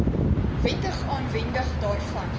wettige aanwending daarvan